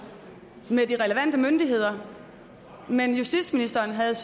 som med de relevante myndigheder men justitsministeren havde